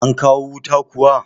An kawo wuta kuwa?